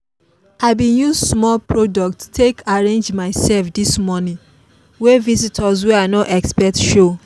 i bin use small product take arrange myself this morning when visitors wey i no expect show.